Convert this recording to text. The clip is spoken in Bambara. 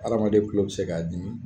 Adamaden tulo bi se k'a dimi